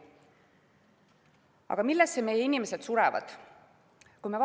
Aga millesse meie inimesed surevad?